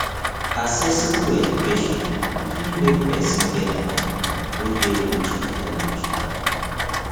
accessible education fit make persin get mind wey de rich of knowlegdge